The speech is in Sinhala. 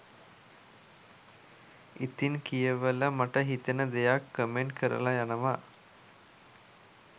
ඉතිං කියවල මට හිතෙන දෙයක් කමෙන්ට් කරල යනව